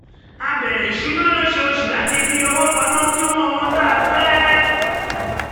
a bẹ̀rẹ̀ ìṣúná lóṣooṣù láti fi owó pamọ́ fún ohun tá a fẹ́